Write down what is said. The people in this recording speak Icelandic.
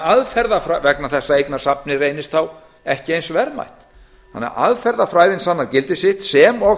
vegna þess að eignasafnið reynist þá ekki eins verðmætt aðferðafræðin sannar því gildi sitt sem og